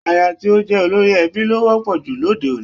Aya tí ó jẹ́ olórí ẹbí ló wọ́pọ̀ jù lóde òní